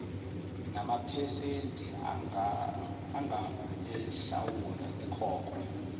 namaphesenti anguenhlawulo ekhokhwe